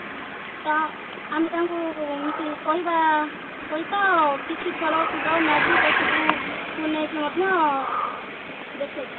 ତ ଆମେ ତାଙ୍କୁ ଏମତି କହିବା ସହିତ କିଛି ଖେଳ କୁଦ magic ଏସବୁ ବନେଇକି ମଧ୍ୟ ଦେଖେଇଥାଉ